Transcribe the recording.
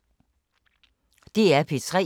DR P3